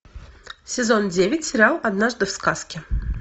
сезон девять сериал однажды в сказке